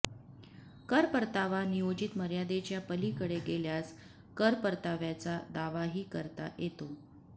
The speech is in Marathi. कर परतावा नियोजित मर्यादेच्या पलीकडे गेल्यास कर परताव्याचा दावाही करता येतो